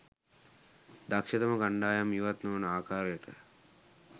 දක්ෂතම කණ්ඩායම් ඉවත් නොවන ආකාරයටය